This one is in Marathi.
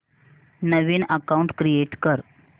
नवीन अकाऊंट क्रिएट कर